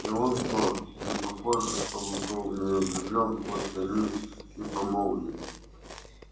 и он-то непохоже чтобы был в нее влюблён хоть они и помолвлены